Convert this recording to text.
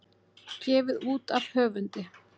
Gefið út af höfundi.